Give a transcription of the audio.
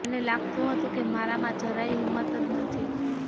મને લાગતું હતું કે મારામાં જરાયે હિંમત જ નથી